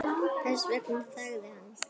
Þess vegna þagði hann.